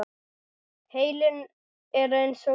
Heilinn er eins og vöðvi.